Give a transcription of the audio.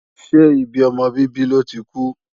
Ṣé ibi ọmọ bíbí lọ́ ti kú?